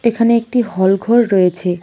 এখানে একটি হল ঘর রয়েছে।